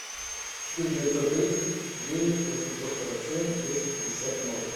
четыре девятьсот тридцать девять восемьсот сорок семь десять пятьдесят ноль